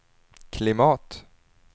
klimat